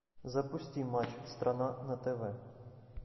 запусти матч страна на тв